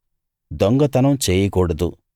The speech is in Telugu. దొంగతనం చేయకూడదు